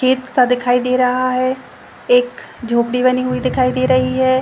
खेत सा दिखाई दे रहा है एक झोपड़ी बनी हुई दिखाई दे रही है।